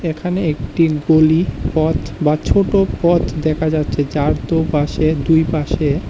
এখানে একটি গলি পথ বা ছোট পথ দেখা যাচ্ছে যার তো পাশে দুই পাশে।